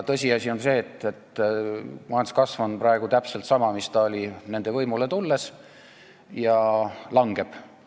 Tõsiasi on see, et majanduskasv on praegu täpselt sama, mis see oli siis, kui nad võimule tulid, ja langeb.